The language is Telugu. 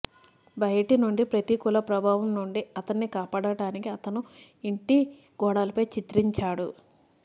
బయటి నుండి ప్రతికూల ప్రభావం నుండి అతన్ని కాపాడటానికి అతను ఇంటి గోడలపై చిత్రించాడు